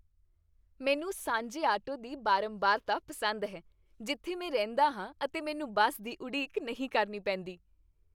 ਮੈਨੂੰ ਸਾਂਝੇ ਆਟੋ ਦੀ ਬਾਰੰਬਾਰਤਾ ਪਸੰਦ ਹੈ ਜਿੱਥੇ ਮੈਂ ਰਹਿੰਦਾ ਹਾਂ ਅਤੇ ਮੈਨੂੰ ਬੱਸ ਦੀ ਉਡੀਕ ਨਹੀਂ ਕਰਨੀ ਪੇਂਦੀ।